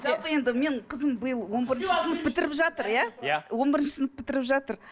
жалпы енді менің қызым биыл он бірінші сынып бітіріп жатыр иә он бірінші сынып бітіріп жатыр